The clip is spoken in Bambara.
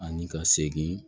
Ani ka segin